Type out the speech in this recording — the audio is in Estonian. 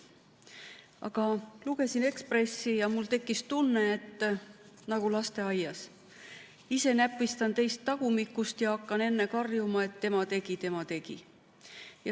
Aga lugesin Ekspressi ja mul tekkis tunne nagu lasteaias, et ise näpistan teist tagumikust ja hakkan enne karjuma, et tema tegi, tema tegi.